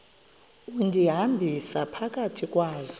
undihambisa phakathi kwazo